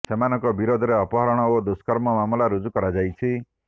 ସେମାନଙ୍କ ବିରୋଧରେ ଅପହରଣ ଓ ଦୁଷ୍କର୍ମ ମାମଲା ରୁଜୁ କରାଯାଇଛି